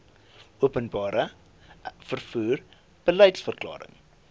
openbare vervoer beliedsverklaring